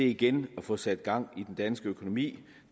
igen kan få sat gang i den danske økonomi